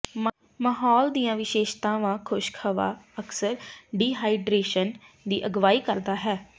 ਮਾਹੌਲ ਦੀਆਂ ਵਿਸ਼ੇਸ਼ਤਾਵਾਂ ਖੁਸ਼ਕ ਹਵਾ ਅਕਸਰ ਡੀਹਾਈਡਰੇਸ਼ਨ ਦੀ ਅਗਵਾਈ ਕਰਦਾ ਹੈ